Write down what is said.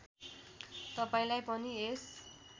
तपाईँलाई पनि यस